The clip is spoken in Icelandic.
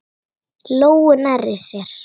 Lóu nærri sér.